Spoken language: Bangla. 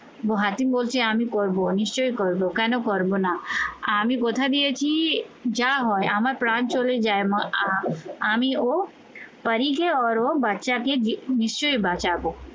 হাকিম বলছে আমি করবো নিশ্চয়ই করবো, কেন করবো না? আমি কথা দিয়েছি যা হয় আমার প্রাণ চলে যায় মাথা আমি ও বাচ্চাকে নিশ্চয়ই বাঁচাবো